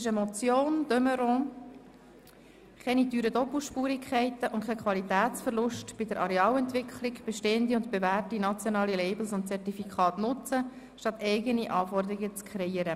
Es handelt sich um eine Motion von Grossrätin de Meuron «Keine teuren Doppelspurigkeiten und kein Qualitätsverlust bei der Arealentwicklung – Bestehende und bewährte nationale Labels und Zertifikate nutzen, statt eigene Anforderungen zu kreieren!